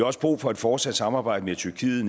også brug for et fortsat samarbejde med tyrkiet